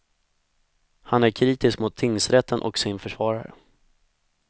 Han är kritisk mot tingsrätten och sin försvarare.